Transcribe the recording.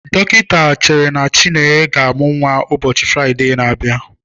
Dọkịta chere na Chinenye ga-amụ nnwa ụbọchị Fraịde na-abịa.